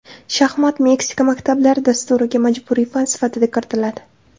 Shaxmat Meksika maktablari dasturiga majburiy fan sifatida kiritiladi.